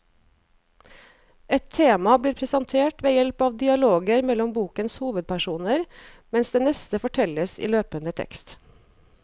Ett tema blir presentert ved hjelp av dialoger mellom bokens hovedpersoner, mens det neste fortelles i løpende tekst.